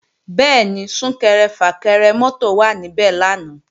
Bẹ́ẹ̀ni, Sún-kẹrẹ-fà-kẹrẹ mọ́tò wà níbẹ̀ lánàá